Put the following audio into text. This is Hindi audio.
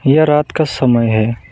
यह रात का समय है।